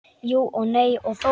Jú og nei og þó.